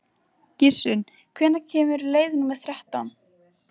Gissunn, hvenær kemur leið númer þrettán?